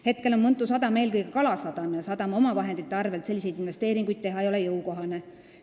Hetkel on Mõntu sadam eelkõige kalasadam ja sadama omavahendite arvelt selliseid investeeringuid teha ei ole jõukohane.